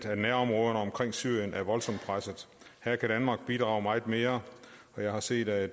at nærområderne omkring syrien er voldsomt pressede her kan danmark bidrage meget mere og jeg har set at